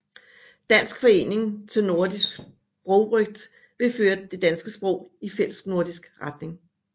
Dansk Forening til Nordisk Sprogrøgt ville føre det danske sprog i fællesnordisk retning